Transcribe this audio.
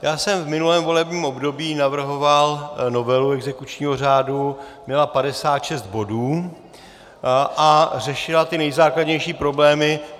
Já jsem v minulém volebním období navrhoval novelu exekučního řádu, měla 56 bodů a řešila ty nejzákladnější problémy.